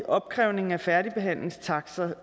opkrævning af færdigbehandlingstakster